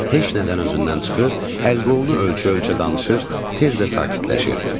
Heç nədən özündən çıxır, əl-qolunu ölçə-ölçə danışır, tez də sakitləşirdi.